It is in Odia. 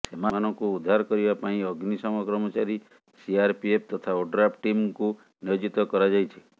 ସେମାନଙ୍କୁ ଉଦ୍ଧାର କରିବା ପାଇଁ ଅଗ୍ନିଶମ କର୍ମଚାରୀ ସିଆରପିଏଫ୍ ତଥା ଓଡ୍ରାଫ୍ ଟିମ୍ଙ୍କୁ ନିୟୋଜିତ କରାଯାଇଛି